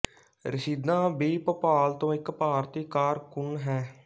ਰਸ਼ੀਦਾ ਬੀ ਭੋਪਾਲ ਤੋਂ ਇਕ ਭਾਰਤੀ ਕਾਰਕੁੰਨ ਹੈ